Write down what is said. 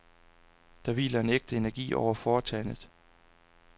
Der hviler en ægte energi over foretagendet.